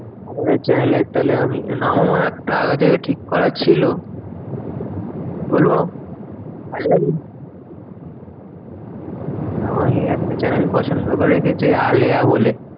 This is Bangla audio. আমাদের channel এর তাহলে আমি নামও একটা আগে থেকে ঠিক করা ছিল। বলবো? আমি একটা channel পছন্দ করে রেখেছি আলেয়া বলে।